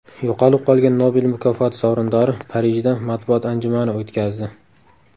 Yo‘qolib qolgan Nobel mukofoti sovrindori Parijda matbuot anjumani o‘tkazdi.